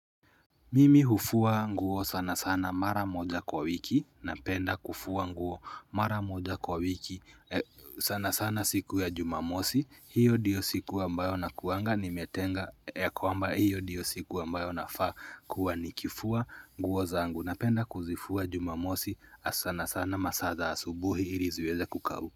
Mimi hufua nguo sana sana mara moja kwa wiki, napenda kufua nguo mara moja kwa wiki, sana sana siku ya jumamosi, hiyo ndiyo siku ambayo nakuanga nimetenga ya kwamba hiyo ndiyo siku ambayo nafaa kuwa nikifua nguo zangu, napenda kuzifua jumamosi, sana sana masaa za asubuhi ili ziweze kukauka.